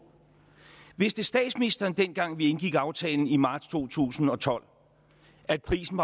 vidste statsministeren dengang vi indgik aftalen i marts to tusind og tolv at prisen